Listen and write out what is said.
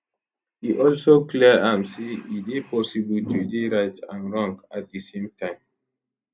e also clear am say e dey possible to dey right and wrong at di same time